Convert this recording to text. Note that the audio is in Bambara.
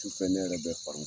Su fɛ ne yɛrɛ bɛ